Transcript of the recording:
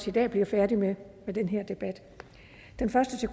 i dag bliver færdige med den her debat den første til